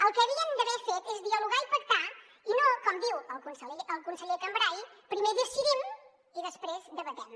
el que havien d’haver fet és dialogar i pactar i no com diu el conseller cambray primer decidim i després debatem